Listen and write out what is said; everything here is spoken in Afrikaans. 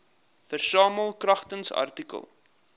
versamel kragtens artikel